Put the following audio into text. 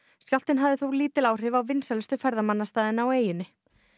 skjálftinn hafði þó lítil áhrif á vinsælustu ferðamannastaðina á eyjunni